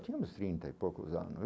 Tinha uns trinta e poucos anos.